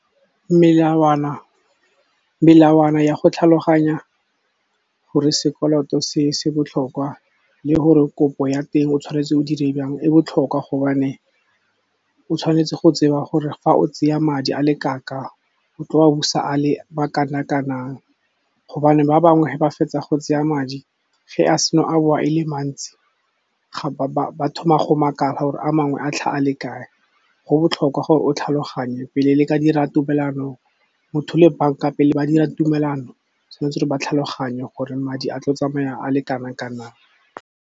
Melawana ya go tlhaloganya gore sekoloto se se botlhokwa le gore kopo ya teng o tshwanetse o dire jang, e botlhokwa gobane o tshwanetse go tseba gore fa o tseya madi a le kang-kang o tlo wa busa a le ma kana-kanang. Gobane ba bangwe ge ba fetsa go tseya madi, ge a seno a bowa e le mantsi ba thoma go makala gore a mangwe a tlhaga le kae. Go botlhokwa gore o tlhaloganye pele le ka dira tumelano, motho le bank-a pele ba dira tumelano tshwanetse ba tlhaloganye gore madi a tlo tsamaya a le kanang-kanang.